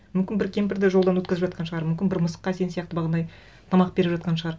мүмкін бір кемпірді жолдан өткізіп жатқан шығар мүмкін бір мысыққа сен сияқты тамақ беріп жатқан шығар